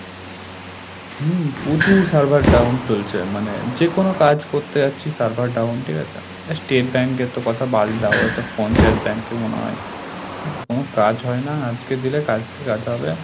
হুম! প্রচুর server down চলছে মানে যেকোনো কাজ করতে যাচ্ছি server down ঠিক আছে? state bank এর তো কথা বাদ দাও ও তো পঞ্চায়েত ব্যাংকই মনে হয়, এর কোন কাজ হয় না, আজকেদিলে কালকে কাজ হবে।